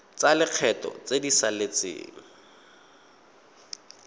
tsa lekgetho tse di saletseng